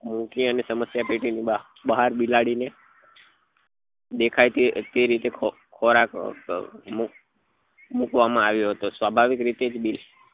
મૂકી અને સમસ્યા પેટી ની બાર બિલાડી ને દેખાય તે રીતે ખોરાક ખોરાક મુક મુકવા માં આવ્યો હતો સ્વાભાવિક રીતે